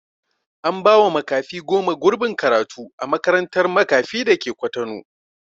An ba wa makafi goma gurbin karatu a makarantar makafi dake kwatano